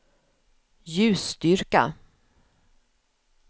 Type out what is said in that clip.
ljusstyrka